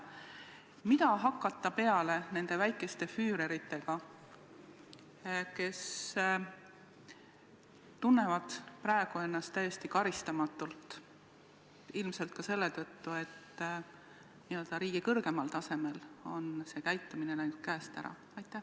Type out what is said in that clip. Mida hakata peale nende väikeste füüreritega, kes tunnevad praegu ennast täiesti karistamatult, ilmselt ka selle tõttu, et riigi kõrgemal tasemel on käitumine läinud käest ära?